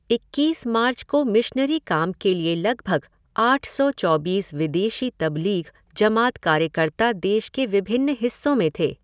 इक्कीस मार्च को मिशनरी काम के लिए लगभग आठ सौ चौबीस विदेशी तब्लीग़ जमात कार्यकर्ता देश के विभिन्न हिस्सों में थे।